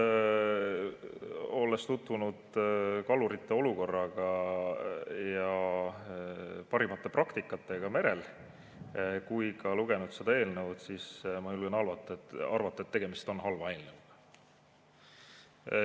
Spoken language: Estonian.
Olles tutvunud kalurite olukorraga ja parimate praktikatega merel ja ka lugenud seda eelnõu, julgen ma arvata, et tegemist on halva eelnõuga.